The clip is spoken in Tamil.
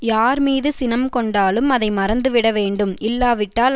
யார்மீது சினம் கொண்டாலும் அதை மறந்துவிட வேண்டும் இல்லாவிட்டால்